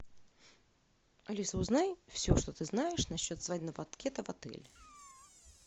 алиса узнай все что ты знаешь насчет свадебного банкета в отеле